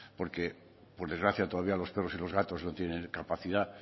porque por desgracia todavía los perros y los gatos no tienen capacidad